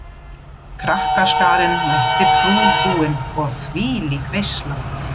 Krakkaskarinn mætti prúðbúinn og þvílík veisla.